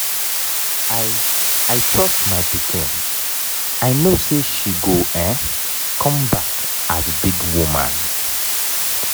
i i trust my pikin i no say she go um come back as big woman.